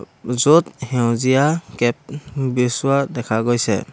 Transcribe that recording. য'ত সেউজীয়া কেপ দেখা গৈছে।